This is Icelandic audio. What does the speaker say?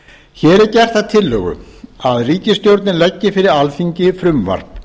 hér er gert að tillögu að ríkisstjórnin leggi fyrir alþingi frumvarp